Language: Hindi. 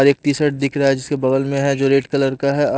और एक टीशर्ट दिख रहा है जिसके बगल में है जो रेड कलर का है आ --